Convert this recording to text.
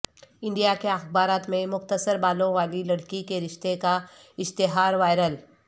India کے اخبارات میں مختصر بالوں والی لڑکی کے رشتے کا اشتہار وائرل